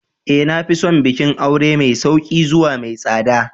Ee. Na fi son bikin aure mai sauƙi zuwa mai tsada.